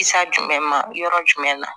jumɛn ma yɔrɔ jumɛn na